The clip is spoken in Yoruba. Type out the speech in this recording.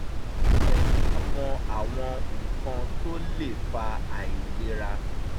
ó fẹ́ ká mọ àwọn nǹkan tó le fa àìlera